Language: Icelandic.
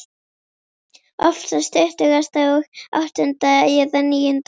Oftast tuttugasta og áttunda eða níunda.